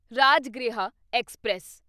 Rajgriha express